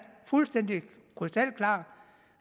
fuldstændigt krystalklart